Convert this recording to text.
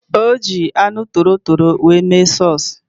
Ọ ji anụ torotoro mee sọs